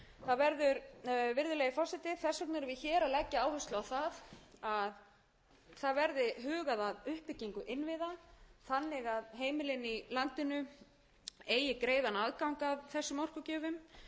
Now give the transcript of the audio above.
að leggja áherslu á það að það verði hugað að uppbyggingu innviða þannig að heimilin í landinu eigi greiðan aðgang að þessum orkugjöfum í öðru lagi að það verði horft til hagrænna